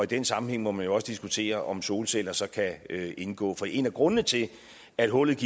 den sammenhæng må man jo også diskutere om solceller så kan indgå for en af grundene til at hullet